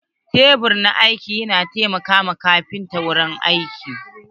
Tebur na aiki na taimaka ma kafinta wajen yin aiki.